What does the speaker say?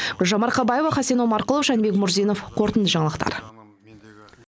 гүлжан марқабаева хасен омарқұлов жәнібек мурзинов қорытынды жаңалықтар